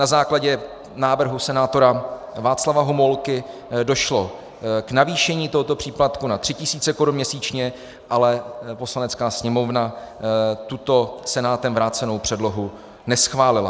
Na základě návrhu senátora Václava Homolky došlo k navýšení tohoto příplatku na 3 000 korun měsíčně, ale Poslanecká sněmovna tuto Senátem vrácenou předlohu neschválila.